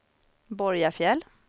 Borgafjäll